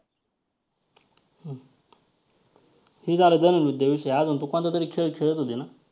हे झालं धनुर्विद्याविषयी, अजून तू कोणतातरी खेळ खेळत होती ना?